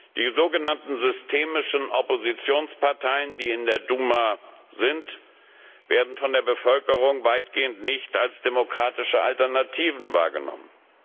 Die sogenannten systemischen Oppositionsparteien, die in der Duma vertreten sind, werden von der Bevölkerung weitgehend nicht als demokratische Alternativen wahrgenommen.